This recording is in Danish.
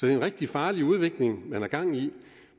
er en rigtig farlig udvikling man har gang i